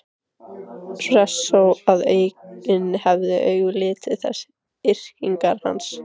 Hressó að enginn hefði augum litið þessar yrkingar hans?